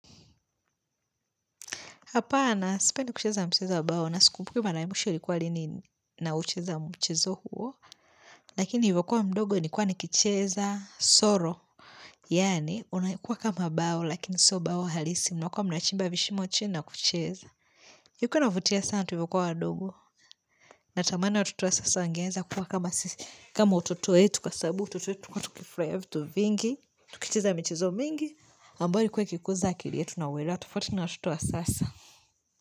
Hapana, sipendi kicheza mchizo wabawo na sikumbuki mara ya mwisho ilikuwa lini naucheza mchizo huo, lakini nilivyo kuwa mdogo nilikua nikicheza soro. Yani, unakua kama bao, lakini so bao halisi, mlikua mnachimba vishimo cna kucheza. Ilikua inavutia sana tulivyokuwa wadogo. Natamani watoto sasa wangeweza kwa kama sisi kama utoto wetu, kwa sabu utoto wetu, tulikua tukigikiria vitu vingi, tukicheza michizo mingi, ambayo ilkua ikikuza akili yetu na wela, tufauti na watoto wa sasa.